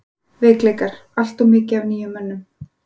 Veikleikar: Alltof mikið af nýjum mönnum.